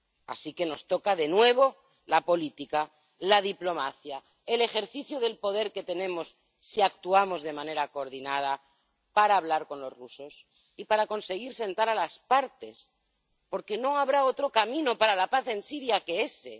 Así que nos toca de nuevo la política, la diplomacia, el ejercicio del poder que tenemos, si actuamos de manera coordinada, para hablar con los rusos y para conseguir sentar a las partes, porque no habrá otro camino para la paz en Siria que ese.